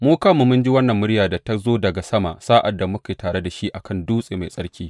Mu kanmu mun ji wannan muryar da ta zo daga sama sa’ad da muke tare da shi a kan dutse mai tsarki.